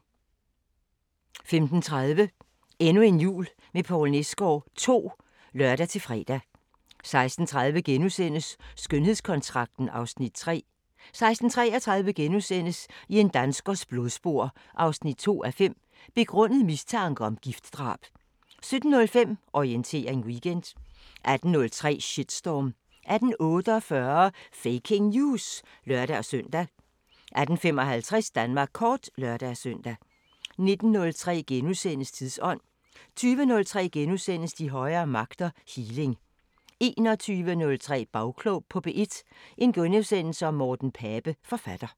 15:30: Endnu en jul med Poul Nesgaard II (lør-fre) 16:03: Skønhedskontrakten (Afs. 3)* 16:33: I en danskers blodspor 2:5 – Begrundet mistanke om giftdrab * 17:05: Orientering Weekend 18:03: Shitstorm * 18:48: Faking News! (lør-søn) 18:55: Danmark kort (lør-søn) 19:03: Tidsånd: * 20:03: De højere magter: Healing * 21:03: Bagklog på P1: Morten Pape, forfatter *